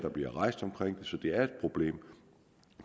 så det er et problem